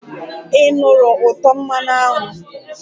Ị nụrụ ụtọ mmanụ aṅụ?